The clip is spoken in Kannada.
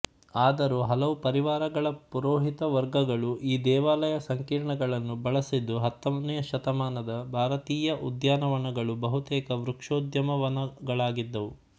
ಆದರೂ ಹಲವು ಪರಿವಾರಗಳ ಪುರೋಹಿತ ವರ್ಗಗಳು ಈ ದೇವಾಲಯ ಸಂಕೀರ್ಣಗಳನ್ನು ಬಳಸಿದ್ದು ಹತ್ತನೇ ಶತಮಾನದ ಭಾರತೀಯ ಉದ್ಯಾನವನಗಳು ಬಹುತೇಕ ವೃಕ್ಷೋದ್ಯಾನವನಗಳಾಗಿದ್ದುವು